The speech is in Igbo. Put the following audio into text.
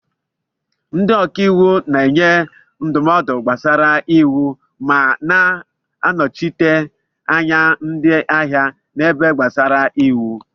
Ndị ọka iwu na-enye ndụmọdụ gbasara iwu ma na-anọchite anya ndị ahịa n'ihe gbasara iwu.